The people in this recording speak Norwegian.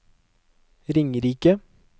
Ringerike